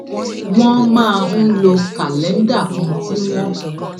wón máa ń lo kàléńdà kan tí wón